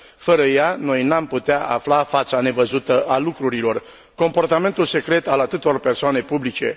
Fără ea, noi n am putea afla fața nevăzută a lucrurilor, comportamentul secret al atâtor persoane publice.